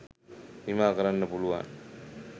නිමා කරන්න පුළුවන්.